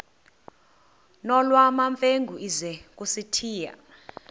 nolwamamfengu ize kusitiya